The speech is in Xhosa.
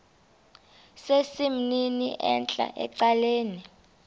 sesimnini entla ecaleni